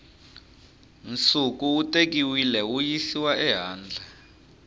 nsuku wu tekiwile wuyisiwa ehandle